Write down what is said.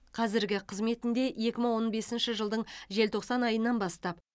қазіргі қызметінде екі мың он бесінші жылдың желтоқсан айынан бастап